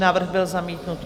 Návrh byl zamítnut.